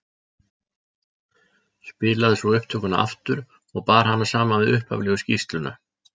Spilaði svo upptökuna aftur og bar hana saman við upphaflegu skýrsluna.